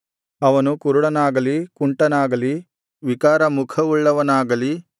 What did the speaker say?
ಅವನು ಕುರುಡನಾಗಲಿ ಕುಂಟನಾಗಲಿ ವಿಕಾರ ಮುಖವುಳ್ಳವನಾಗಲಿ